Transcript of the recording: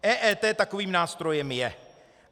EET takovým nástrojem je.